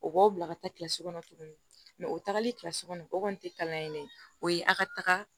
O b'aw bila ka taa kilasi kɔnɔ tuguni o tagali kilasi kɔnɔ o kɔni tɛ kalan yen o ye a ka taga